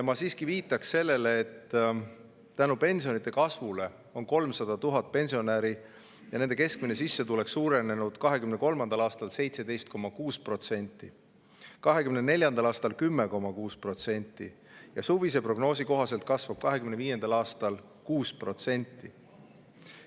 Ma siiski viitan sellele, et tänu pensionide kasvule on 300 000 pensionäri keskmine sissetulek suurenenud 2023. aastal 17,6%, 2024. aastal 10,6% ja suvise prognoosi kohaselt kasvab 2025. aastal 6%.